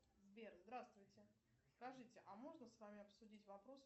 сбер здравствуйте скажите а можно с вами обсудить вопрос